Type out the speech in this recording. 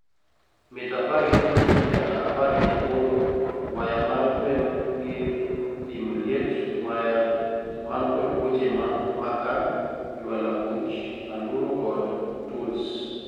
mita apar gi auchiel nyaka appar gi aboro waya mar gwen gir pimo liet waya man kod buche makaa jwalabuch anduro kod tuls